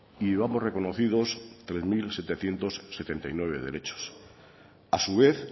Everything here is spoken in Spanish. y llevamos reconocidos tres mil setecientos setenta y nueve derechos a su vez